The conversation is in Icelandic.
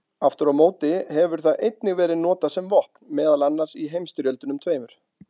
Aftur á móti hefur það einnig verið notað sem vopn, meðal annars í heimsstyrjöldunum tveimur.